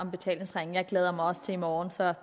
om betalingsringen jeg glæder mig også til i morgen så